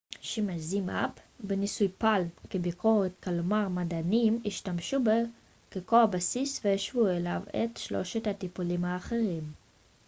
בניסוי palm שימש zmapp כביקורת כלומר מדענים השתמשו בו כקו הבסיס והשוו אליו את שלושת הטיפולים האחרים